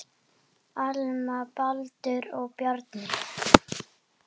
Alma, Baldur og Bjarni.